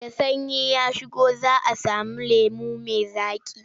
Da sanyi ya shigo za a sami lemo mai zaƙi.